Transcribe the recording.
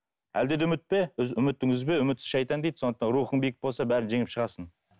әлде де үмітте үмітіңді үзбе үмітсіз шайтан дейді сондықтан рухың биік болса бәрін жеңіп шығасың